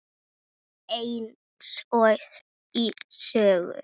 Eins og í sögu.